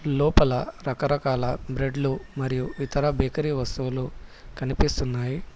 లోపల రకరకాల బ్రెడ్లు మరియు ఇతర బేకరీ వస్తువులు కనిపిస్తున్నాయి.